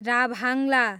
राभाङला